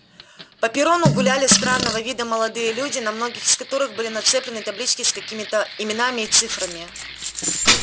по перрону гуляли странного вида молодые люди на многих из которых были нацеплены таблички с какими-то именами и цифрами